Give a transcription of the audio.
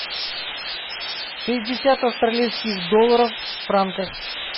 шестьдесят австралийских долларов в франках